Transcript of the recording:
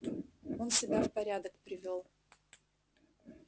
он себя в порядок привёл